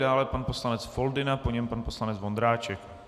Dále pan poslanec Foldyna, po něm pan poslanec Vondráček.